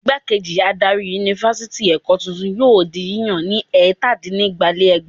Ìgbákejì adarí Yunifásitì Èkó tuntun yóò di yíyàn ní ẹ̀tàdínnígba-lé-ẹgbàá.